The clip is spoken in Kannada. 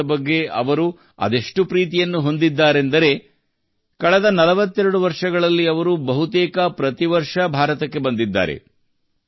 ಭಾರತದ ಬಗ್ಗೆ ಅವರು ಅದೆಷ್ಟು ಪ್ರೀತಿಯನ್ನು ಹೊಂದಿದ್ದಾರೆಂದರೆ ಕಳೆದ 42 ವರ್ಷಗಳಲ್ಲಿ ಅವರು ಬಹುತೇಕ ಪ್ರತಿ ವರ್ಷ ಭಾರತಕ್ಕೆ ಬಂದಿದ್ದಾರೆ